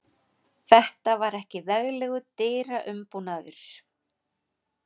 Þetta var ekki veglegur dyraumbúnaður.